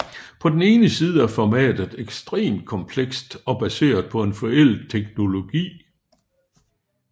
På den ene side er formatet ekstremt komplekst og baseret på en forældet teknologi